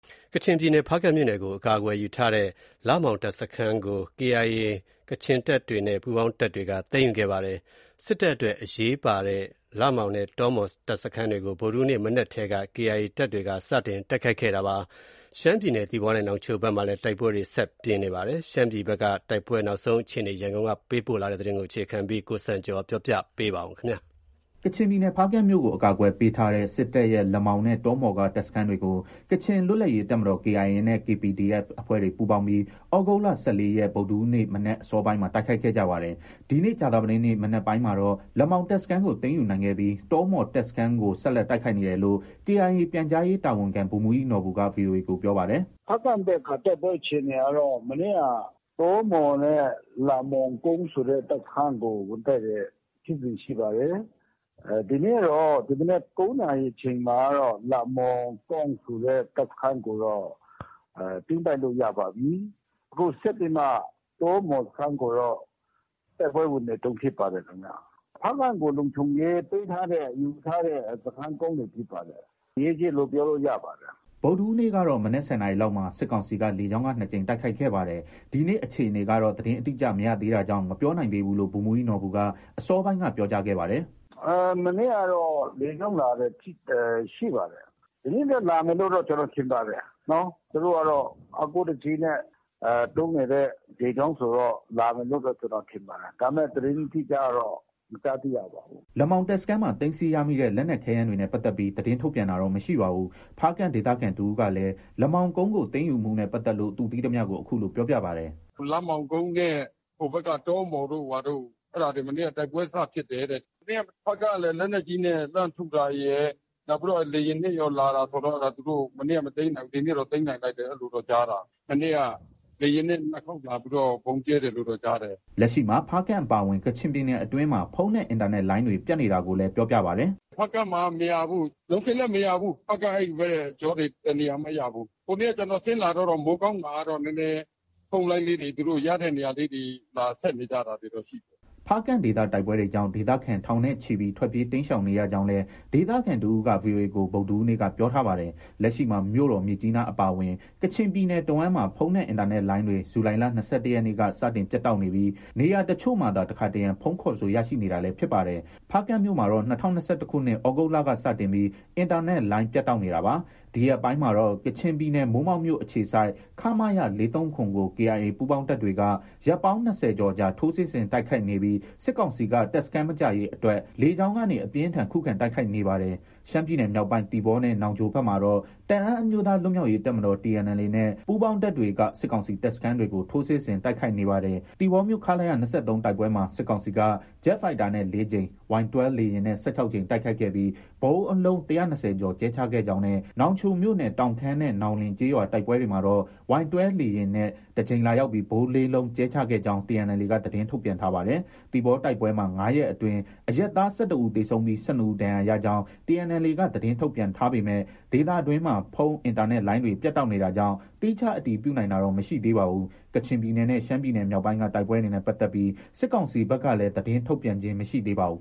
ကချင်ပြည်နယ် ဖားကန့်မြို့ကို အကာအကွယ်ယူထားတဲ့ လမောင်တပ်စခန်းကို KIA ကချင်တပ်တွေနဲ့ ပူးပေါင်းတပ်တွေက သိမ်းယူခဲ့ပါတယ်။ စစ်တပ်အတွက် အရေးပါတဲ့ လမောင်နဲ့ တောမှော်တပ်စခန်းတွေကို ဗုဒ္ဓဟူးနေ့ မနက်ထဲက KIA တပ်တွေ စတင်ခိုက်ခဲ့တာဖြစ်ပါတယ်။ ရှမ်းပြည်နယ် သီပေါနဲ့ နောင်ချိုဘက်မှာလည်း တိုက်ပွဲတွေ ဆက်လက်ပြင်းထန်နေပါတယ်။ ရှမ်းပြည်ဘက်က တိုက်ပွဲ နောက်ဆုံးအခြေအနေ ရန်ကုန်ကပေးပို့တဲ့သတင်းကို တင်ပြထားပါတယ်။ ကချင်ပြည်နယ်၊ ဖားကန့်မြို့ကို အကာအကွယ်ပေးထားတဲ့ စစ်တပ်ရဲ့ လမောင်နဲ့ တောမှော်က တပ်စခန်းတွေကို ကချင်လွတ်လပ်ရေးတပ်မတော် KIA နဲ့ KPDF အဖွဲ့တွေပူးပေါင်းပြီး ဩဂုတ်လ ၁၄ ရက် ဗုဒ္ဓဟူးနေ့မနက်အစောပိုင်းမှာ တိုက်ခိုက်ခဲ့ကြပါတယ်။ ဒီနေ့ ကြာသပတေးနေ့ မနက်ပိုင်းမှာတော့ လမောင်တပ်စခန်းကို သိမ်းယူနိုင်ခဲ့ပြီး တောမှော်တပ်စခန်းကို ဆက်လက် တိုက်ခိုက်နေတယ်လို့ KIA ပြန်ကြားရေးတာဝန်ခံ ဗိုလ်မှူးကြီးနော်ဘူက VOA ကို ပြောပါတယ်။ “ ဖားကန့်ဘက်က တိုက်ပွဲအခြေအနေကတော့ တောမှော်နဲ့ လမောင်ကောင့်ဆိုတဲ့ တပ်စခန်းကို ဝင်တိုက်တဲ့ ဖြစ်စဉ်ရှိပါတယ်။ ဒီနေ့တော့ ဒီမနက် ၉ နာရီအချိန်မှာကတော့ လမောင်ကောင့်ဆိုတဲ့တပ်စခန်းကိုတော့ သိမ်းပိုက်လို့ ရပါပြီ။ အခုဆက်ပြီးမှ တောမှော်စခန်းကိုတော့ တိုက်ပွဲဝင်နေတုံး ဖြစ်ပါတယ်ခင်ဗျ။ ဖားကန့်ကို လုံခြုံရေးပေးထားတဲ့၊ ယူထားတဲ့ စခန်းကုန်းတွေဖြစ်ပါတယ်။ အရေးကြီးတယ်လို့ ပြောလို့ ရပါတယ်။ ” ဗုဒ္ဓဟူးနေ့ကတော့ မနက် ၁၀ နာရီလောက်မှာ စစ်ကောင်စီက လေကြောင်းက ၂ ကြိမ်တိုက်ခဲ့ပါတယ်။ ဒီနေ့အခြေအနေကတော့ သတင်းအတိအကျ မရသေးတာကြောင့် မပြောနိုင်သေးဘူးလို့ ဗိုလ်မှူးကြီးနော်ဘူက အစောပိုင်းက ပြောကြားခဲ့ပါတယ်။ “ မနေ့ကတော့ လေကြောင်းလာတာ ရှိပါတယ်။ ဒီနေ့လည်း လာမယ်လို့တော့ ကျနော် ထင်ပါတယ်။ သူတို့ကတော့ အားကိုးတကြီးနဲ့ သုံးနေတဲ့ လေကြောင်းဆိုတော့ လာမယ်လို့တော့ ကျနော် ထင်ပါတယ်။ ဒါပေမဲ့ သတင်းအတိအကျတော့ မကြားသိရပါဘူး။” လမောင်တပ်စခန်းမှာ သိမ်းဆည်းရမိတဲ့ လက်နက်ခဲယမ်းတွေနဲ့ပတ်သက်ပြီး သတင်းထုတ်ပြန်တာတော့ မရှိပါဘူး။ ဖားကန့်ဒေသခံတဦးကလည်း လမောင်ကုန်းကို သိမ်းယူမှုနဲ့ပတ်သက်လို့ သူသိရသမျှကို အခုလို ပြောပြပါတယ်။ “ လမောင်ကုန်းနဲ့ ဟိုဘက်က တောမှော်တို့ ဘာတို့ အဲဒါတွေ မနေ့က တိုက်ပွဲစဖြစ်တယ်တဲ့။ မနေ့က ဖားကန့်ကလည်း လက်နက်ကြီးနဲ့ လှမ်းထုတာရယ်။ နောက်ပြီးတော့ လေယာဉ်နဲ့လည်း လာတာဆိုတော့ကာ မနေ့က မသိမ်းနိုင်ဘူး။ ဒီနေ့တော့ သိမ်းနိုင်လိုက်တယ်လို့ အဲလိုတော့ကြားတာ။ မနေ့က လေယာဉ်နဲ့ ၂ခေါက်လာပြီး ဗုံးကြဲတယ်လို့တော့ ကြားတာ။” လက်ရှိမှာ ဖားကန့်အပါအဝင် ကချင်ပြည်နယ်အတွင်းမှာ ဖုန်းနဲ့ အင်တာနက်လိုင်းတွေ ပြတ်နေတာကိုလည်း ပြောပြပါတယ်။ “ ဖားကန့်မှာက မရဘူး။ လုံးခင်းလည်း မရဘူး။ ဖားကန့် အဲဒီဘက်ကြောတွေ တနေရာမှ မရဘူး။ ဟိုနေ့က ကျနော်ဆင်းလာတော့တောင် မိုးကောင်းမှာကတော့ နည်းနည်း ဖုန်းလိုင်းလေးတွေ၊ သူတို့ ရတဲ့နေရာလေးတွေ လာဆက်နေကြတာတွေတော့ ရှိတယ်။” ဖားကန့်ဒေသတိုက်ပွဲကြောင့် ဒေသခံထောင်နဲ့ချီပြီး ထွက်ပြေးတိမ်းရှောင်နေရကြောင်းလည်း ဒေသခံတဦးက VOA ကို ဗုဒ္ဓဟူးနေ့က ပြောထားပါတယ်။ လက်ရှိမှာ မြို့တော် မြစ်ကြီးနားအပါအဝင် ကချင်ပြည်နယ်တဝှမ်းမှာ ဖုန်းနဲ့ အင်တာနက်လိုင်းတွေ ဇူလိုင်လ ၂၁ရက်နေ့က စတင်ပြတ်တောက်နေပြီး နေရာအချို့မှာသာ တခါတရံ ဖုန်းခေါ်ဆိုရရှိနေတာလည်း ဖြစ်ပါတယ်။ ဖားကန့်မြို့မှာတော့ ၂၀၂၁ခုနှစ် သြဂုတ်လကစတင်ပြီး အင်တာနက်လိုင်းပြတ်တောက်နေတာပါ။ ဒီရက်ပိုင်းမှာတော့ ကချင်ပြည်နယ် မိုးမောက်မြို့ အခြေစိုက် ခမရ ၄၃၇ ကို KIA ပူးပေါင်းတပ်တွေက ရက်ပေါင်း ၂၀ ကျော်ကြာ ထိုးစစ်ဆင်တိုက်ခိုက်နေပြီး စစ်ကောင်စီက တပ်စခန်းမကျရေးအတွက် လေကြောင်းကနေ အပြင်းအထန် ခုခံတိုက်ခိုက်နေပါတယ်။ ရှမ်းပြည်နယ်မြောက်ပိုင်း သီပေါနဲ့ နောင်ချိုဘက်မှာတော့ တအန်းအမျိုးသားလွတ်မြောက်ရေးတပ်မတော် TNLA နဲ့ ပူးပေါင်းတပ်တွေက စစ်ကောင်စီတပ်စခန်းတွေကို ထိုးစစ်ဆင်တိုက်ခိုက်နေပါတယ်။ သီပေါမြို့ ခလရ ၂၃ တိုက်ပွဲမှာ စစ်ကောင်စီက ဂျက်ဖိုက်တာနဲ့ ၄ ကြိမ်၊ Y12 လေယာဉ်နဲ့ ၁၆ ကြိမ် တိုက်ခိုက်ပြီး ဗုံးအလုံး ၁၂၀ကျော်ကြဲချခဲ့ကြောင်းနဲ့ နောင်ချိုမြို့နယ် တောင်ခမ်းနဲ့ နောင်လင် ကျေးရွာ တိုက်ပွဲတွေမှာတော့ Y12 လေယာဉ်နဲ့ တကြိမ်လာရောက်ပြီး ဗုံး ၄လုံးကြဲချခဲ့ကြောင်း TNLA က သတင်းထုတ်ပြန်ထားပါတယ်။ သီပေါတိုက်ပွဲမှာ ၅ ရက်အတွင်း အရပ်သား ၁၁ ဦးသေဆုံးပြီး ၁၂ဦးဒဏ်ရာရကြောင်း TNLA က သတင်းထုတ်ပြန်ထားပေမဲ့ ဒေသတွင်းမှာ ဖုန်း၊ အင်တာနက်လိုင်းတွေ ပြတ်တောက်နေတာကြောင့် သီးခြားအတည်ပြုနိုင်တာတော့ မရှိသေးပါဘူး။ ကချင်ပြည်နယ်နဲ့ ရှမ်းပြည်မြောက်ပိုင်းက တိုက်ပွဲတွေနဲ့ပတ်သက်ပြီး စစ်ကောင်စီဘက်ကလည်း သတင်းထုတ်ပြန်ခြင်း မရှိသေးပါဘူး